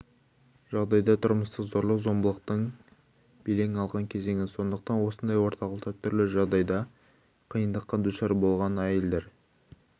жағдайда тұрмыстық зорлық-зомбылықтың белең алған кезеңі сондықтан осындай орталықтар түрлі жағдайда қиындыққа душар болған әйелдер